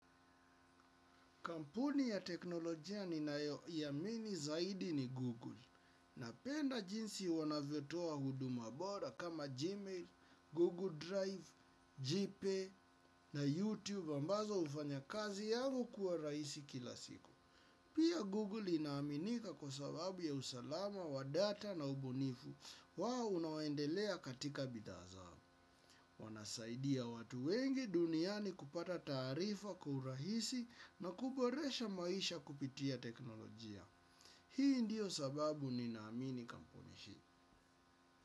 Kampuni ya teknolojia ninayoiamini zaidi ni Google napenda jinsi wanavyotoa huduma bora kama Gmail, Google Drive, JPE na YouTube ambazo ufanya kazi yangu kuwa raisi kila siku. Pia Google inaaminika kwa sababu ya usalama wa data na ubunifu wao unaoendelea katika bidhaa zao. Wanasaidia watu wengi duniani kupata taarifa kwa urahisi na kuboresha maisha kupitia teknolojia. Hii ndiyo sababu ninaamini kampuni hii.